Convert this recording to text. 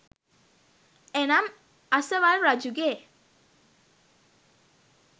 එනම් අසවල් රජුගේ